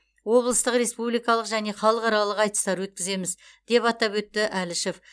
облыстық республикалық және халықаралық айтыстар өткіземіз деп атап өтті әлішев